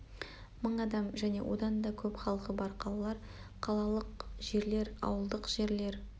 мың адам және одан да көп халқы бар қалалар қалалық жерлер ауылдық жерлер